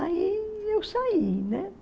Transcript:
Aí eu saí, né?